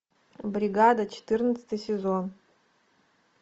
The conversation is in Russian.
бригада четырнадцатый сезон